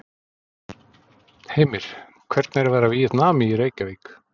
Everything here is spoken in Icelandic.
Heimir: Hvernig er að vera Víetnami í Reykjavík?